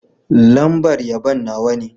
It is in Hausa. Lambar yabon Nawa ne.